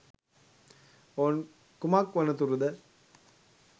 ඔවුන් කුමක් වනතුරුද